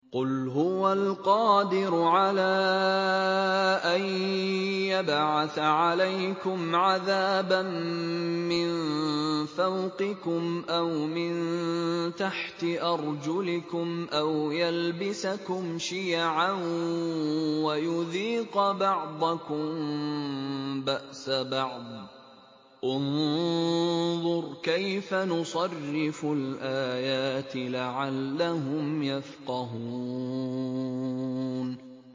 قُلْ هُوَ الْقَادِرُ عَلَىٰ أَن يَبْعَثَ عَلَيْكُمْ عَذَابًا مِّن فَوْقِكُمْ أَوْ مِن تَحْتِ أَرْجُلِكُمْ أَوْ يَلْبِسَكُمْ شِيَعًا وَيُذِيقَ بَعْضَكُم بَأْسَ بَعْضٍ ۗ انظُرْ كَيْفَ نُصَرِّفُ الْآيَاتِ لَعَلَّهُمْ يَفْقَهُونَ